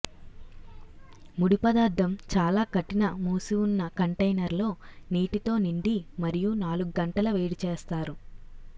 ముడి పదార్థం చాలా కఠిన మూసివున్న కంటైనర్ లో నీటితో నిండి మరియు నాలుగు గంటల వేడిచేస్తారు